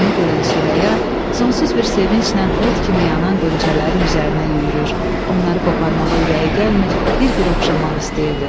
Bunu görən Süreyya sonsuz bir sevinclə od kimi yanan qonçələrin üzərinə yüyürür, onları qoparmağa ürəyi gəlmir, bir-bir oxşamaq istəyirdi.